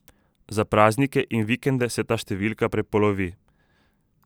Za praznike in vikende se ta številka prepolovi.